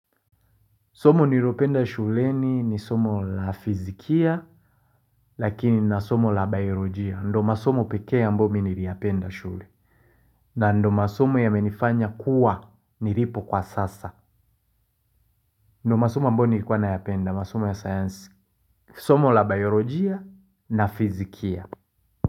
Somo nilopenda shuleni ni somo la fizikia lakini na somo la biolojia. Ndiyo masomo pekee ambayo mimi niliyapenda shule. Na ndio masomo yamenifanya kuwa nilipo kwa sasa. Ndio masomo ambayo nilikuwa nayapenda masomo ya sayansi. Somo la biolojia na fizikia.